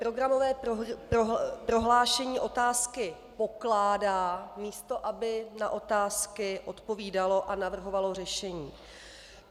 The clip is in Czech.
Programové prohlášení otázky pokládá, místo aby na otázky odpovídalo a navrhovalo řešení.